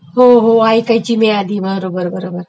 हो हो ऐकायची मी आधी बरोबर बरोबर